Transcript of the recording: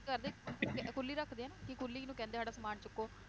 ਕੀ ਕਰਦੇ ਕੁੱਲੀ ਰੱਖਦੇ ਆ ਨਾ ਕਿ ਕੁੱਲੀ ਨੂੰ ਕਹਿੰਦੇ ਸਾਡਾ ਸਮਾਨ ਚੁੱਕੋ।